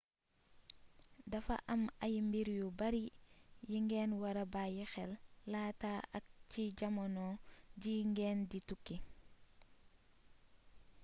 dafa am ay mbir yu bari yi ngeen wara bayyi xel laata ak ci jamono ji ngeen di tukki